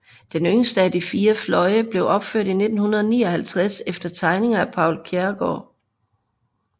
Den yngste af de fire fløje blev opført i 1959 efter tegninger af Poul Kjærgaard